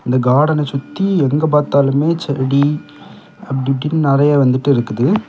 இந்த கார்டன சுத்தி எங்க பாத்தாலுமே செடி அப்டி இப்டின்னு நெறைய வந்துட்டு இருக்குது.